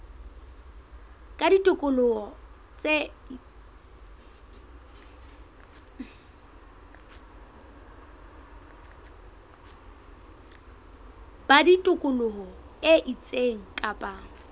ba tikoloho e itseng kapa